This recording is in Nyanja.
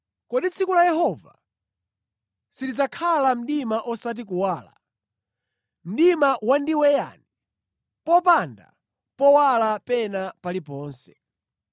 Kodi tsiku la Yehova silidzakhala mdima osati kuwala, mdima wandiweyani, popanda powala pena paliponse?